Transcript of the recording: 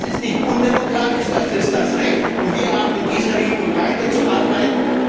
Nein, das ist nicht undemokratisch, das ist das Recht, und wir haben in dieser Richtung weiterzuarbeiten.